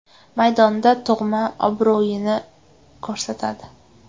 Maydonda tug‘ma obro‘yini ko‘rsatadi.